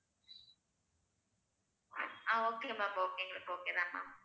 ஆஹ் okay ma'am okay எங்களுக்கு okay தான் ma'am